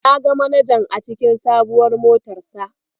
Na ga manajan a cikin sabuwar motarsa.